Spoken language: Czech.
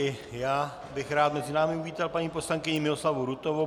I já bych rád mezi námi uvítal paní poslankyni Miloslavu Rutovou.